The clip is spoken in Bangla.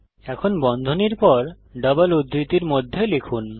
এখন বন্ধনীর পর ডবল উদ্ধৃতির মধ্যে লিখুন